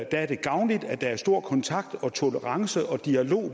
er gavnligt at der er stor kontakt og tolerance og dialog